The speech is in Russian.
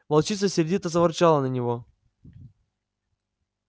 волчица сердито заворчала на него